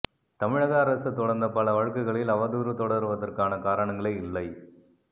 தமிழக அரசு தொடர்ந்த பல வழக்குகளில் அவதூறு தொடர்வதற்கான காரணங்களே இல்லை